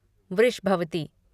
Vrishabhavati